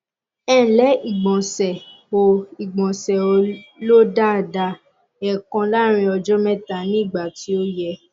ẹǹlẹ ìgbọnsẹ ò ìgbọnsẹ ò lọ daada èèkan láàárín ọjọ mẹta ní ìgbà tí ò yẹ